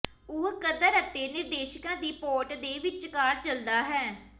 ਉਹ ਕਦਰ ਅਤੇ ਨਿਰਦੇਸ਼ਿਕਾ ਦੀ ਪੋਰਟ ਦੇ ਵਿਚਕਾਰ ਚੱਲਦਾ ਹੈ